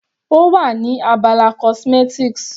Ó wà ní abala cosmetics.